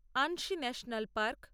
Anshi national park